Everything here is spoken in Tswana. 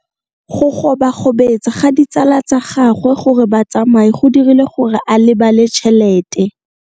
Go gobagobetsa ga ditsala tsa gagwe, gore ba tsamaye go dirile gore a lebale tšhelete.